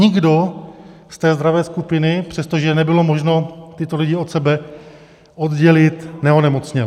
Nikdo z té zdravé skupiny, přestože nebylo možno tyto lidi od sebe oddělit, neonemocněl.